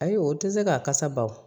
Ayi o tɛ se k'a kasa baw